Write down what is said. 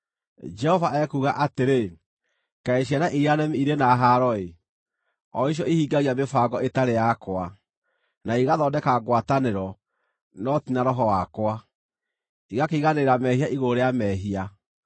Jehova ekuuga atĩrĩ, “Kaĩ ciana iria nemi irĩ na haaro-ĩ! o icio ihingagia mĩbango ĩtarĩ yakwa, na igathondeka ngwatanĩro, no ti na Roho wakwa, igakĩiganĩrĩra mehia igũrũ rĩa mehia;